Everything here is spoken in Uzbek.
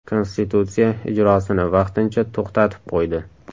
Konstitutsiya ijrosini vaqtincha to‘xtatib qo‘ydi.